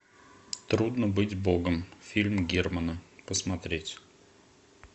трудно быть богом фильм германа посмотреть